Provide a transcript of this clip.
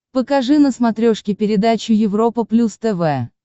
покажи на смотрешке передачу европа плюс тв